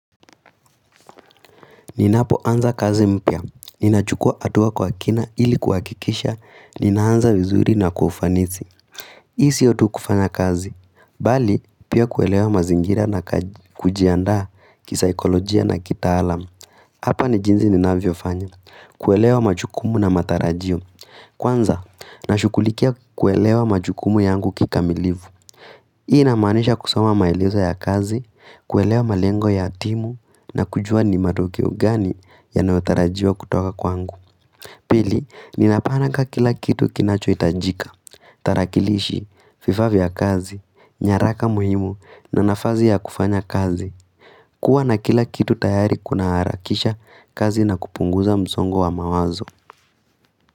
Ninapo anza kazi mpya, ninachukua hatua kwa kina ili kuhakikisha, nina anza vizuri na kwa ufanisi. Hii sio tu kufanya kazi, bali pia kuelewa mazingira na kujianda kisaikolojia na kita alamu. Hapa ni jinsi ninavyo fanya, kuelewa majukumu na matarajio. Kwanza, nashugulikia kuelewa majukumu yangu kikamilifu. Hii inamaanisha kusoma maelezo ya kazi, kuelewa malengo ya timu na kujua ni matokeo gani yanayotarajiwa kutoka kwangu. Pili, ninapanga kila kitu kinacho hitajika, tarakilishi, vifaa vya kazi, nyaraka muhimu na nafasi ya kufanya kazi. Kuwa na kila kitu tayari kuna harakisha kazi na kupunguza msongo wa mawazo.